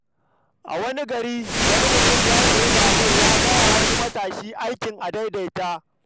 A wani gari, wani mutum ya sayi babur ya bai wa wani matashi aikin adaidaita.